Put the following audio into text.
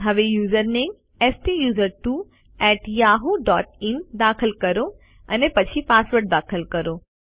હવે યુઝરનેમ સ્ટુસર્ટવો એટી yahooઇન દાખલ કરો અને પછી પાસવર્ડ દાખલ કરો